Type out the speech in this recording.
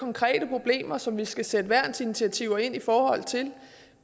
konkrete problemer som vi skal sætte værnsinitiativer ind i forhold til